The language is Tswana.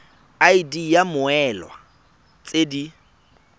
id ya mmoelwa tse di